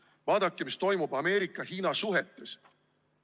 Vaadake, mis toimub Ameerika-Hiina suhetes.